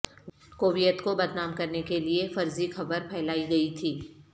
Kuwait کو بدنام کرنے کے لئے فرضی خبر پھیلائی گئی تھی